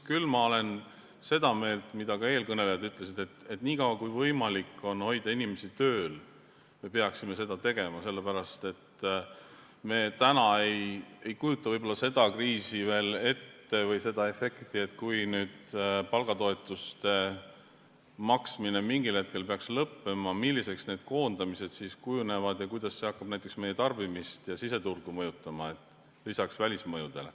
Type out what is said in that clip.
Küll olen ma seda meelt, mida ka eelkõnelejad ütlesid, et niikaua, kui on võimalik hoida inimesi tööl, me peaksime seda tegema, sest me ei kujuta võib-olla seda efekti veel ette, et kui palgatoetuste maksmine mingil hetkel peaks lõppema, milliseks koondamised siis kujunevad ja kuidas see hakkab näiteks meie tarbimist ja siseturgu mõjutama, lisaks välismõjudele.